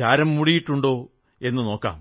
ചാരം മൂടിയിട്ടുണ്ടോ എന്നു നോക്കാം